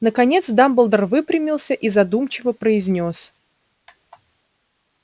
наконец дамблдор выпрямился и задумчиво произнёс